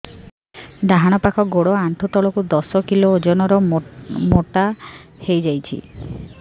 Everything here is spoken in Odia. ଡାହାଣ ପାଖ ଗୋଡ଼ ଆଣ୍ଠୁ ତଳକୁ ଦଶ କିଲ ଓଜନ ର ମୋଟା ହେଇଯାଇଛି